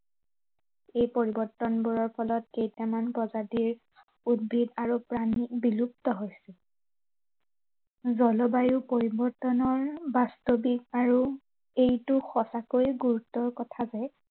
এই পৰিৱৰ্তনবোৰৰ ফলত কেইটামান প্ৰজাতিৰ, উদ্ভিদ আৰু প্ৰাণী বিলুপ্ত হৈছে। জলবায়ু পৰিৱৰ্তনৰ বাস্তৱিক আৰু এইটো সঁচাকৈ গুৰুতৰ কথা যে